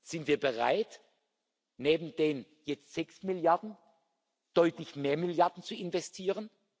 Sind wir bereit, neben den jetzt sechs Milliarden deutlich mehr Milliarden zu investieren?